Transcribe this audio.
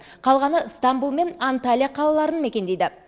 қалғаны ыстамбұл мен анталия қалаларын мекендейді